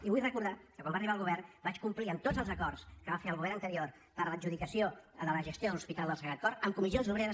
i vull recordar que quan va arribar el govern vaig complir tots els acords que va fer el govern anterior per a l’adjudicació de la gestió de l’hospital del sagrat cor amb comissions obreres